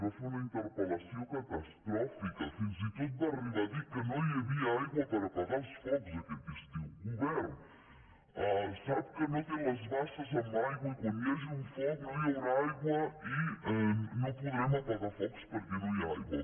va fer una interpel·lació catastròfica fins i tot va arribar a dir que no hi havia aigua per apagar els focs aquest estiu govern sap que no té les basses amb aigua i quan hi hagi un foc no hi haurà aigua i no podrem apagar focs perquè no hi ha aigua